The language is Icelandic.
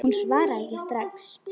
Hún svaraði ekki strax.